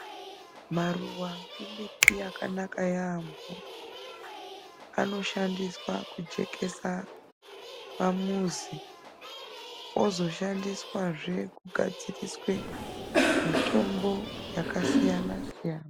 Maruwa emiti yakanaka yaamho anoshandiswa kujekesa pamuzi ozoshandiswazve kugadziriswe mitombo yakasiyana siyana.